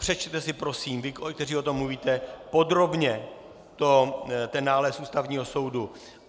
Přečtěte si prosím, vy, kteří o tom mluvíte, podrobně ten nález Ústavního soudu.